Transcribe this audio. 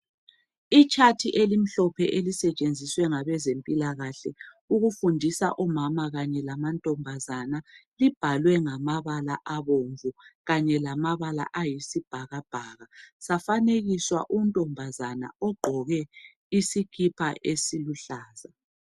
Itshathi elimhlophe elisetshenziswe ngabezempilakahle ukufundisa omama kanye lamantombazana libhalwe ngamabala abomvu kanye lamabala ayisibhakabhaka, lafanekiswa untombazane ogqoke isikipa esiluhlaza.